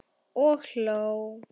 Og hló.